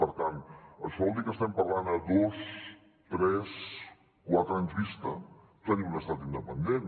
per tant això vol dir que estem parlant a dos tres quatre anys vista tenir un estat independent